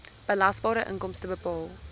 belasbare inkomste bepaal